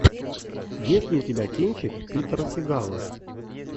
есть ли у тебя кинчик питера сигала